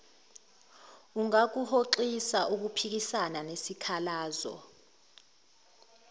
ungakuhoxisa ukuphikisana nesikhalazo